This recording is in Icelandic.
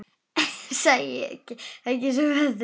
Sækir svo í sig veðrið.